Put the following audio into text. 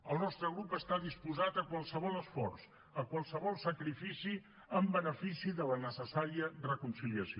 el nostre grup està disposat a qualsevol esforç a qualsevol sacrifici en benefici de la necessària reconciliació